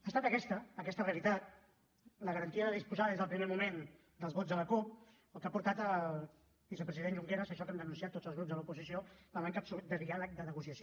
ha estat aquesta aquesta realitat la garantia de disposar des del primer moment dels vots de la cup el que ha portat al vicepresident junqueras a això que hem denunciat tots els grups de l’oposició la manca absoluta de diàleg de negociació